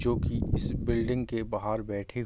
जो की किसी बिल्डिंग के बाहर बैठे --